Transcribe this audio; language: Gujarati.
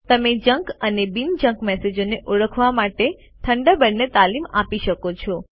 તમે જંક અને બિન જંક મેસેજોને ઓળખવા માટે થન્ડરબર્ડને તાલીમ આપી શકો છો